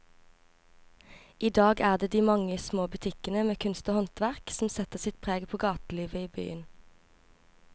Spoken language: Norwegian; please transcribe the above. I dag er det de mange små butikkene med kunst og håndverk som setter sitt preg på gatelivet i byen.